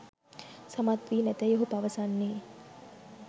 සමත්වී නැතැයි ඔහු පවසන්නේ